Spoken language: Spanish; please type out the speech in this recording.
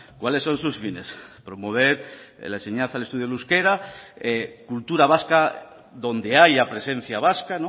cuáles son su fines promover la enseñanza y el uso del euskera cultura vasca donde haya presencia vasca